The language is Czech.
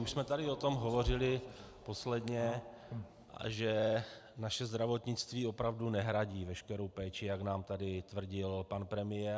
Už jsme tady o tom hovořili posledně, že naše zdravotnictví opravdu nehradí veškerou péči, jak nám tady tvrdil pan premiér.